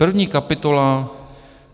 První kapitola.